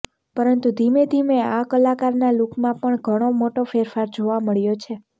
પરંતુ ધીમે ધીમે આ કલાકારના લુકમાં પણ ઘણો મોટો ફેરફાર જોવા મળ્યો છે